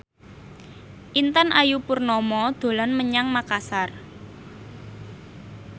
Intan Ayu Purnama dolan menyang Makasar